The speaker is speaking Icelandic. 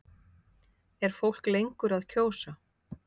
Er fólk lengur að kjósa?